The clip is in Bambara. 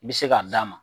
I bɛ se k'a d'a ma